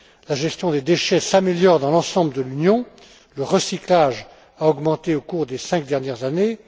La gestion des déchets s'améliore dans l'ensemble de l'Union, le recyclage a augmenté au cours des cinq dernières années.